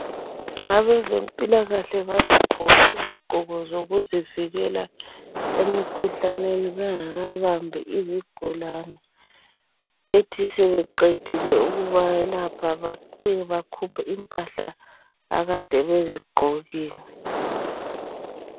Abezempilakahle bagqoke izigqoko zokuzivikela emikhuhlaneni bengakabambi izigulane. Bethi sebeqedile ukubayelapha babuye bebakhuphe impahla akade bezigqokile.